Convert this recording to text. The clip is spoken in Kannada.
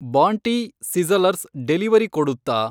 ಬಾಂಟಿ ಸಿಝಲರ್ಸ್‌ ಡೆಲಿವರಿ ಕೊಡುತ್ತಾ